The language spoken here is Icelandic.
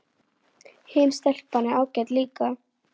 Hin stelpan er ágæt líka